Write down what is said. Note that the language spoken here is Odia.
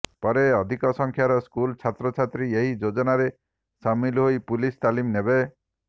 ପରେ ଅଧିକ ସଂଖ୍ୟାର ସ୍କୁଲ ଛାତ୍ରଛାତ୍ରୀ ଏହି ଯୋଜନାରେ ସାମିଲ ହୋଇ ପୁଲିସ ତାଲିମ ନେବେ